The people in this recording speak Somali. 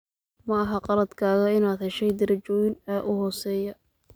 Ma aha khaladkaaga inaad heshay darajooyin aa uu xooseya.